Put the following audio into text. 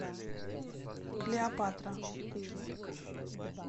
клеопатра